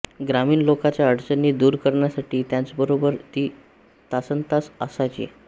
ग्रामीण लोकांच्या अडचणी दूर करण्यासाठी त्यांच्यबरोबर ती तासन्तास असायची